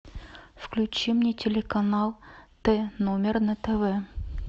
включи мне телеканал т номер на тв